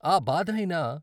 ఆ బాధ అయినా.